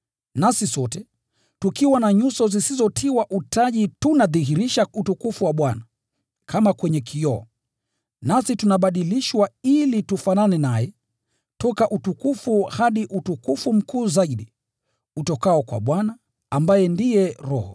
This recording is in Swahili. Nasi sote, tukiwa na nyuso zisizotiwa utaji tunadhihirisha utukufu wa Bwana, kama kwenye kioo. Nasi tunabadilishwa ili tufanane naye, toka utukufu hadi utukufu mkuu zaidi, utokao kwa Bwana, ambaye ndiye Roho.